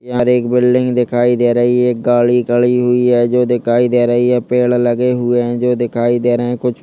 और एक बिल्डिंग दिखाई दे रही है एक गाड़ी खड़ी हुई है जो दिखाई दे रही है पेड़ लगे हुए है जो दिखाई दे रहे है कुछ-- ।